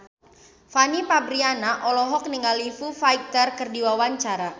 Fanny Fabriana olohok ningali Foo Fighter keur diwawancara